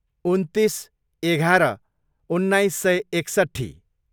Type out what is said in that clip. उन्तिस, एघार, उन्नाइस सय एकसट्ठी